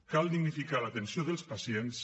cal dignificar l’atenció dels pacients